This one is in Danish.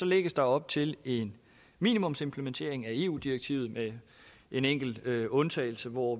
lægges der op til en minimumsimplementering af eu direktivet med en enkelt undtagelse hvor